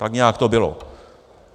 Tak nějak to bylo.